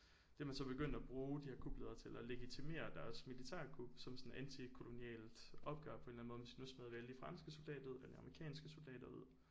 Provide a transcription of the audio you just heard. Det er man så begyndt at bruge de her kupledere til at legitimere deres militærkup som sådan et antikolonialt opgør på en eller anden måde så nu smider vi alle de franske soldater ud eller amerikanske soldater ud